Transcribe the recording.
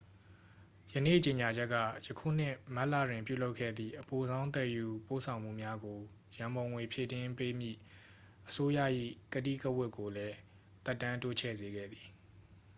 ယနေ့ကြေညာချက်က ယခုနှစ် မတ်လတွင် ပြုလုပ်ခဲ့သည့် အပိုဆောင်းသယ်ယူပို့ဆောင်မှုများကို ရန်ပုံငွေဖြည့်တင်းပေးမည့် အစိုးရ၏ ကတိကဝတ်ကိုလည်း သက်တမ်းတိုးချဲ့စေခဲ့သည်